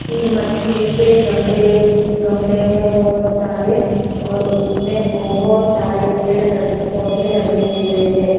कि मट्टी के गमले गमले हैं बहुत सारे और उसमें बहुत सारे पेड़ ल पौधे लगे हुए हैं।